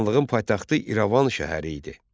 Xanlığın paytaxtı İrəvan şəhəri idi.